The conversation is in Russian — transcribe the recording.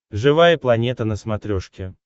живая планета на смотрешке